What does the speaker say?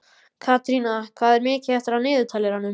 Katrína, hvað er mikið eftir af niðurteljaranum?